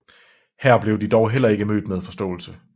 Her blev de dog heller ikke blev mødt med forståelse